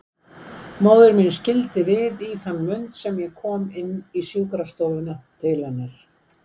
Móðir mín skildi við í þann mund sem ég kom inn í sjúkrastofuna til hennar.